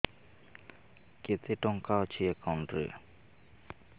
କେତେ ଟଙ୍କା ଅଛି ଏକାଉଣ୍ଟ୍ ରେ